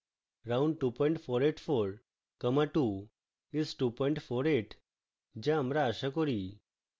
round 2484 comma 2 is 248